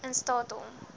in staat om